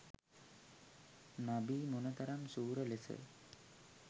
නබී මොනතරම් ශූර ලෙස